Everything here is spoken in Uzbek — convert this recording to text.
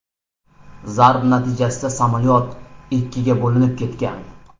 Zarba natijasida samolyot ikkiga bo‘linib ketgan.